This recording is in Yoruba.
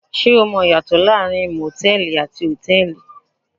Ṣé o mọ ìyàtọ̀ láàárín motẹ̀ẹ̀li àti hotẹ́ẹ́li?